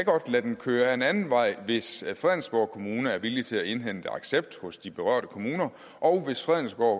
lade dem køre ad en anden vej hvis fredensborg kommune er villig til at indhente accept hos de berørte kommuner og hvis fredensborg